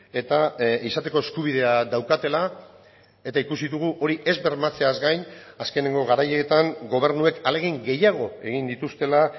eta izateko eskubidea daukatela eta ikusi dugu hori ez bermatzeaz gain azkeneko garaietan gobernuek ahalegin gehiago egin dituztela